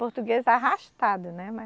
Português arrastado, né, mas